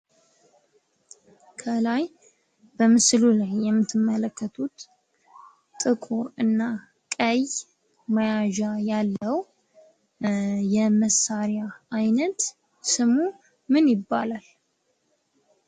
ከላይ በምስሉ ላይ የምትመለከቱት ጥቁር እና ቀይ መያዣ ያለው ነው ።የመሳሪያ አይነት ስሙ ምን ይባላል?